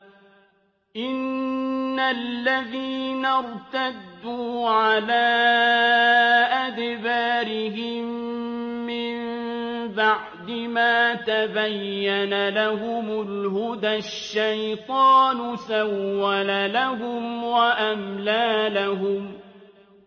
إِنَّ الَّذِينَ ارْتَدُّوا عَلَىٰ أَدْبَارِهِم مِّن بَعْدِ مَا تَبَيَّنَ لَهُمُ الْهُدَى ۙ الشَّيْطَانُ سَوَّلَ لَهُمْ وَأَمْلَىٰ لَهُمْ